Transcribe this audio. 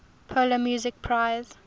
polar music prize